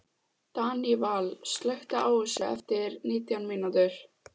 Daníval, slökktu á þessu eftir nítján mínútur.